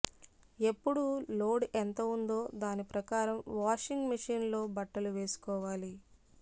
ఎప్పుడూ లోడ్ ఎంత ఉందో దాని ప్రకారం వాషింగ్ మెషీన్ లో బట్టలు వేసుకోవాలి